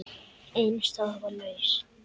Ein staða var laus.